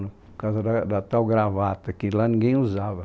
Por causa da, da tal gravata, que lá ninguém usava